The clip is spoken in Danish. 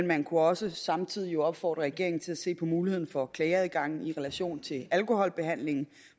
man kunne også samtidig opfordre regeringen til at se på muligheden for klageadgangen i relation til alkoholbehandlingen